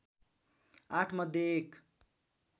आठ मध्ये एक